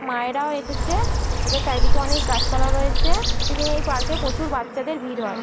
মায়ে রাও এসেছে-এ ওদের চারদিকে অনেক গাছপালা রয়েছে-এ ওই দিন এই পার্ক -এ প্রচুর বাচ্চাদের ভিড় হয়।